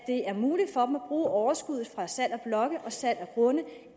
bruge overskuddet fra salg af blokke og fra salg af grunde